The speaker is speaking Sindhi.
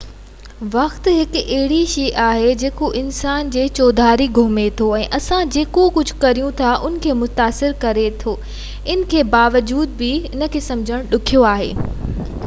وقت هڪ اهڙي شئي آهي جيڪو اسان جي چوڌاري گهمي ٿو ۽ اسان جيڪو ڪجهہ ڪريون ٿا ان کي متاثر ڪري ٿو ان جي باوجود سمجهڻ ڏکيو آهي